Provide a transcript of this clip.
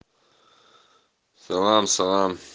салам салам